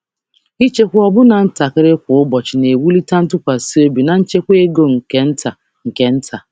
Ịchekwa ọbụlagodi ntakịrị kwa ụbọchị na-ewulite ntụkwasị obi na nchekwa ego nke nta nke nta.